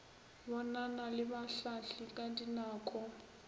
bonana le bahlahli ka dinako